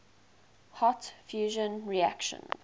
hot fusion reactions